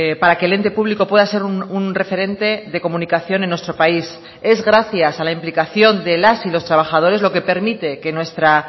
para que el ente público pueda ser un referente de comunicación en nuestro país es gracias a la implicación de las y los trabajadores lo que permite que nuestra